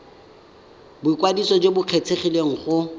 boikwadiso jo bo kgethegileng go